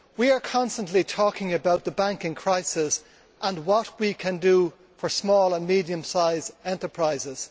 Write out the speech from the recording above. We are constantly talking about the banking crisis and what we can do for small and medium sized enterprises.